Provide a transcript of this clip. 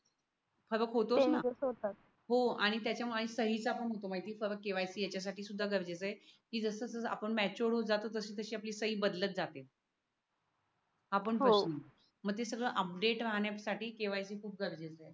हो आणि त्याच्यामागे सही चा पण होतो माहत आहे परत KYC याच्यासाठी सुद्धा गरजेचे आहे की जसं जस आपण matured होत जातो तशी तशी आपली सही बदलत जाते. आपण मग ते सगळ अपडेट राहण्यासाठी KYC खूप गरजेच आहे.